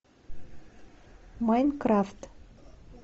майнкрафт